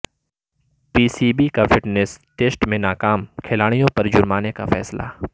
پی C B کا fitness test میں ناکام کھلاڑیوں پر جرمانے کا فیصلہ